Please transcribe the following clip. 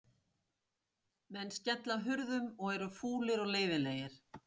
Menn skella hurðum og eru fúlir og leiðinlegir.